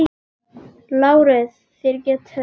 LÁRUS: Þér getið reynt.